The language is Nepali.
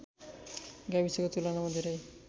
गाविसको तुलनामा धेरै